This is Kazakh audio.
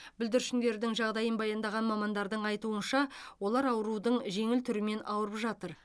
бүлдіршіндердің жағдайын баяндаған мамандардың айтуынша олар аурудың жеңіл түрімен ауырып жатыр